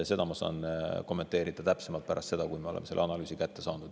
Seda kõike ma saan kommenteerida täpsemalt pärast seda, kui me oleme selle analüüsi kätte saanud.